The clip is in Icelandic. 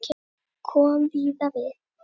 Kom víða við.